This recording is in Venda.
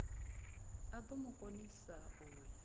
do mu konisa u ya